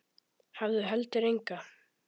Hafði heldur enga.